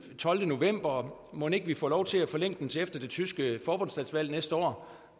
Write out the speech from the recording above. tolvte november og mon ikke vi får lov til at forlænge den til efter det tyske forbundsdagsvalg næste år